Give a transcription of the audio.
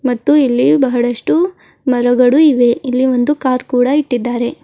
ಮತ್ತು ಇಲ್ಲಿ ಬಹಳಷ್ಟು ಮರಗಳು ಇವೆ ಇಲ್ಲಿ ಒಂದು ಕಾರ್ ಕೂಡ ಇಟ್ಟಿದ್ದಾರೆ.